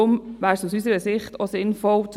Zu den Anträgen kommen wir im Detail.